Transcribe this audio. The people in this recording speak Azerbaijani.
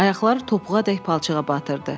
Ayaqları topuğadək palçığa batırdı.